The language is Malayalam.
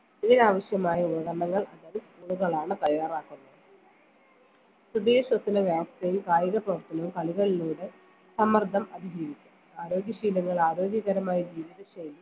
ഇതിന് ആവിശ്യമായ ഉപകരണങ്ങൾ അതായത് school കളാണ് തയ്യാറാക്കുന്നത് പുതിയ കായിക പ്രവർത്തനവും കളികളിലൂടെ സമ്മർദ്ദം അതിജീവിക്കാം ആരോഗ്യ ശീലങ്ങൾ ആരോഗ്യകരമായ ജീവിതശൈലി